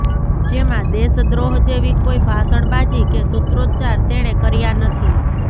જેમાં દેશદ્રોહ જેવી કોઈ ભાષણબાજી કે સુત્રોચ્ચાર તેણે કર્યા નથી